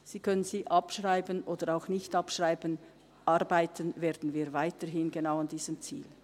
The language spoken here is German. Sie können sie abschreiben oder auch nicht abschreiben, arbeiten werden wir weiterhin genau an diesem Ziel.